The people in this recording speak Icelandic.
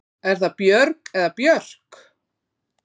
Er það Björg eða Björk?